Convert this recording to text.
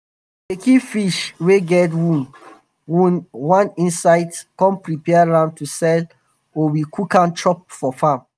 we dey keep fish wey get wound wound one side come prepare am to sell or we cook am chop for farm.